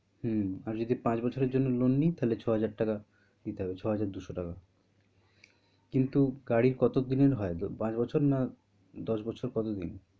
হম আর যদি পাঁচ বছরএর জন্য loan নিই তা হলে ছয় হাজার টাকা দিতে হবে ছয় হাজার -দুশো টাকা কিন্তু গাড়ির কত দিন এর হয় loan পাঁচ বছর না দশ বছর কত দিন?